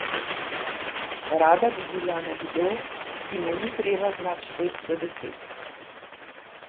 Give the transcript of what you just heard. Rada bi bila nekdo, ki mu ni treba znat štet do deset.